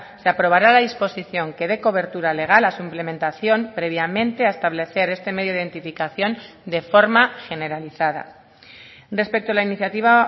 se aprobará la disposición que dé cobertura legal a su implementación previamente a establecer este medio de identificación de forma generalizada respecto a la iniciativa